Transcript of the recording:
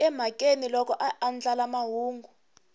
emhakeni loko a andlala mahungu